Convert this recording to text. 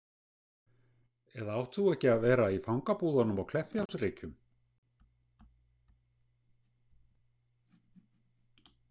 Eða átt þú ekki að vera í fangabúðunum á Kleppjárnsreykjum